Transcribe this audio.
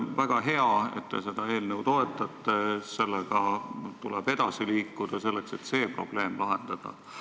Väga hea, et te seda eelnõu toetate, sellega tuleb edasi liikuda, selleks et see probleem lahendada.